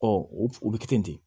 Ɔ o bɛ kɛ ten de